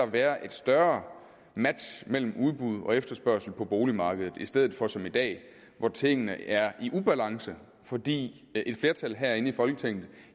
være et større match mellem udbud og efterspørgsel på boligmarkedet i stedet for som i dag hvor tingene er i ubalance fordi et flertal herinde i folketinget